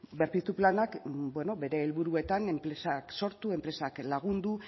berpiztu planak bere helburuetan enpresak sortu enpresak lagundu